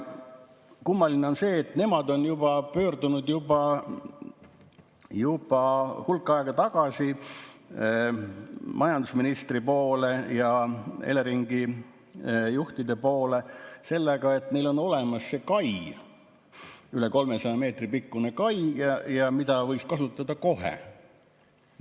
Kummaline on see, et nemad on pöördunud juba hulk aega tagasi majandusministri poole ja Eleringi juhtide poole sellega, et neil on olemas üle 300 meetri pikkune kai, mida võiks kasutada kohe.